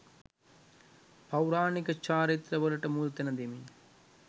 පෞරාණික චාරිත්‍ර වලට මුල්තැන දෙමින්